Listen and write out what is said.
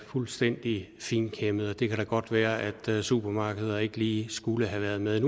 fuldstændig finkæmmet det kan da godt være at supermarkeder ikke lige skulle have været med